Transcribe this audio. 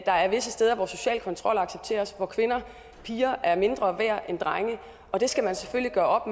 der er visse steder hvor social kontrol accepteres hvor kvinder og piger er mindre værd end drenge og det skal man selvfølgelig gøre